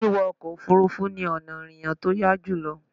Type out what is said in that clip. Wíwọ ọkọ̀ Òfurufú ni ọ̀nà ìrìnà tí ó yá jùlọ